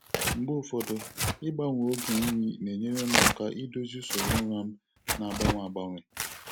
Mgbe ụfọdụ, ịgbanwe oge nri na-enyere m aka idozi usoro ụra m na-agbanwe agbanwe.